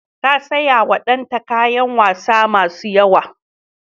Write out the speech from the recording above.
Ta sayawa danta kayan wasa masu yawa.